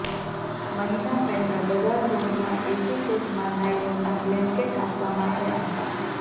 મહિના પહેલા બધા ઝોનમાં એસી કોચમાં નાયલોનના બ્લેનકેટ આપવામાં આવ્યા હતા